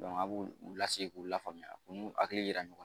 a b'u u lase k'u lafaamuya u n'u hakili yira ɲɔgɔn na